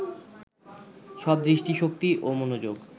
সব দৃষ্টিশক্তি ও মনোযোগ